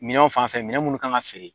Minanw fanfɛ minɛ munnu kan ka feere